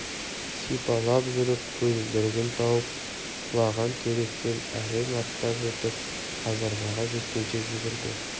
сипалап жүріп көзілдірігін тауып құлаған теректен әрең аттап өтіп казармаға жеткенше жүгірді